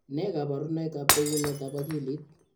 Nee kabarunoikab bekunetab akilit?